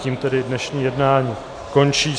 Tím tedy dnešní jednání končí.